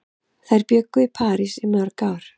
Þær bjuggu í París í mörg ár.